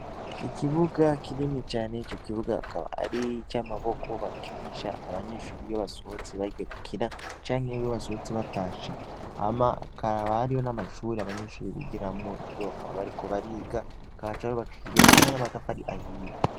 Ikibuga kinini cane, ico kibuga kikaba ari ic'amaboko bakinisha iyo abanyeshure basohotse bagiye gukina canke iyo basohotse batashe, hama hakaba hariho n'amashure abanyeshure bigiramwo iyo bariko bariga, akaba yubakishijwe hamwe n'amatafari ahiye.